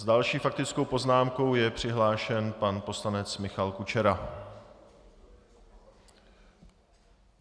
S další faktickou poznámkou je přihlášen pan poslanec Michal Kučera.